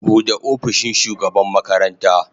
Bude opishin shugaban makaranta.